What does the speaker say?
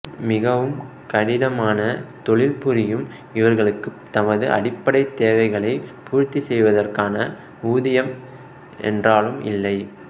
மிகவும் கடினமான தொழில் புரியும் இவர்களுக்கு தமது அடிப்படை தேவைகளை பூர்த்தி செய்வதற்கான ஊதியம் என்றாலும் இல்லை